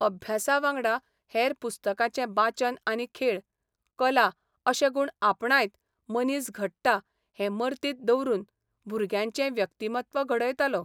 अभ्यासावांगडा हेर पुस्तकांचें बाचन आनी खेळ, कला अशे गूण आपणायत मनीस घडटा हें मर्तीत दवरून भुरग्यांचें व्यक्तिमत्व घडयतालो.